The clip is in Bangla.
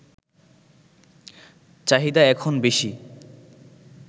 চাহিদা এখন বেশি